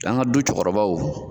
An ka du cɛkɔrɔbaw.